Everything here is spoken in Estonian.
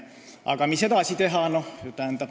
Aga mis edasi teha?